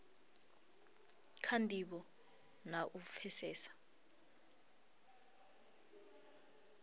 kha ndivho na u pfesesa